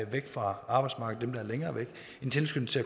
væk fra arbejdsmarkedet en tilskyndelse